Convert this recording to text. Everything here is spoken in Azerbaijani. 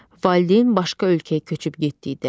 Valideyn başqa ölkəyə köçüb getdikdə.